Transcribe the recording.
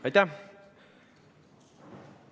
Aitäh!